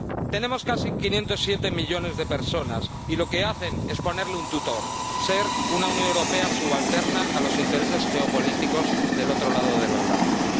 Tenemos casi 507 millones de personas, y lo que hacen es ponerle un tutor, hacer una Unión Europea subalterna de los intereses geopolíticos del otro lado del Atlántico.